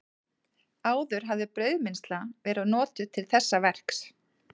Áður hafði brauðmylsna verið notuð til þessa verks.